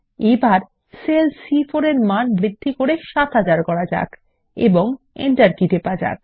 এখন সেল সি4 এর মান বৃদ্ধি করে ৭০০০ করুন এবং এন্টার কী টিপুন